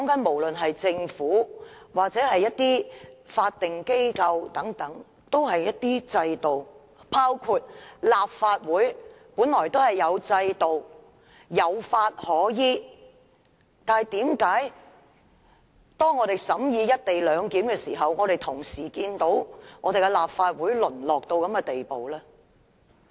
無論政府或法定機構均有制度，包括立法會本來也有制度，有法可依，但為甚麼立法會審議《廣深港高鐵條例草案》的時候，卻會淪落至這種地步？